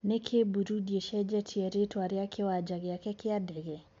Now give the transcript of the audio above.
Niki Burundi icenjetie ritwa ria kiwanja giake kia dege?